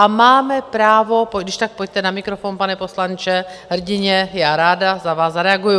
A máme právo - když tak pojďte na mikrofon, pane poslanče , hrdinně, já ráda na vás zareaguju.